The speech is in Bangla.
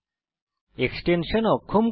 এক্সটেনশান অক্ষম করুন